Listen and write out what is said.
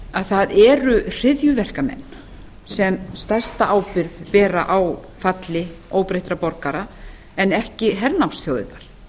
að það eru hryðjuverkamenn sem stærsta ábyrgð bera á falli óbreyttra borgara en ekki hernámsþjóðirnar ég